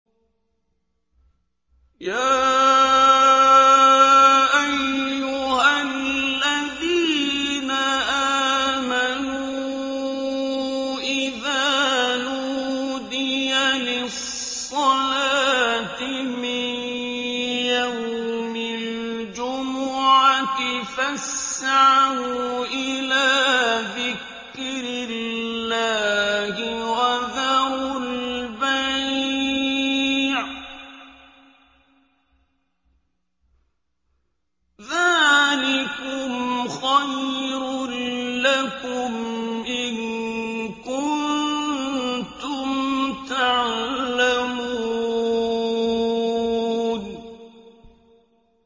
يَا أَيُّهَا الَّذِينَ آمَنُوا إِذَا نُودِيَ لِلصَّلَاةِ مِن يَوْمِ الْجُمُعَةِ فَاسْعَوْا إِلَىٰ ذِكْرِ اللَّهِ وَذَرُوا الْبَيْعَ ۚ ذَٰلِكُمْ خَيْرٌ لَّكُمْ إِن كُنتُمْ تَعْلَمُونَ